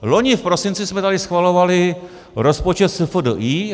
Loni v prosinci jsme tady schvalovali rozpočet SFDI.